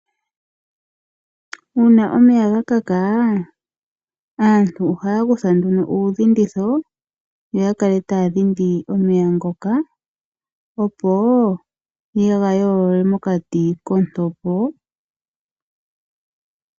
Uuna omeya gakaka, aantu ohaya kutha nduno uudhinditho, yo yakale taya dhindi omeya ngoka, opo yega yoolole mokati kontopo.